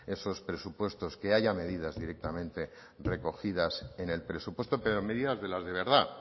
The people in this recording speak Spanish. esos presupuestos que haya medidas directamente recogidas en el presupuesto pero medidas de las de verdad